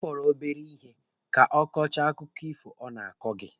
Ọ fọrọ obere ihe ka ọ kọchaa akụkọ ifo ọ na-akọ gị.